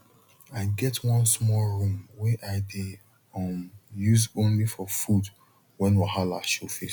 i get one small room wey i dey um use only for food when wahala show face